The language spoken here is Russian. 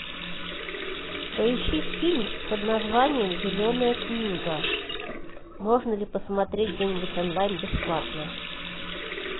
поищи фильм под названием зеленая книга можно ли посмотреть где нибудь онлайн бесплатно